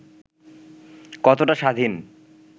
কতটা স্বাধীন